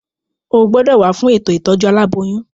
O gbọ́dọ̀ wá fún ètò ìtọ́jú aláboyún.